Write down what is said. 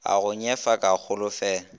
a go nyefa ke holofela